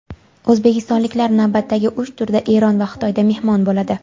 O‘zbekistonliklar navbatdagi uch turda Eron va Xitoyda mehmon bo‘ladi.